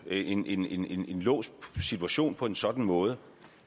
en en låst situation på en sådan måde